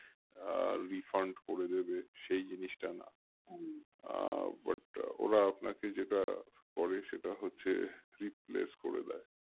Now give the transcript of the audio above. আহ Refund করে দেবে সেই জিনিসটা না আহ but ওরা আপনাকে যেটা করে সেটা হচ্ছে replace করে দেয়